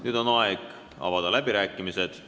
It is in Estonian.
Nüüd on aeg avada läbirääkimised.